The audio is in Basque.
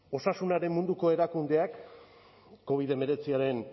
osasunaren munduko erakundeak covid hemeretziaren